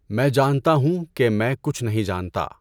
میں جانتا ہوں کہ میں کچھ نہیں جانتا۔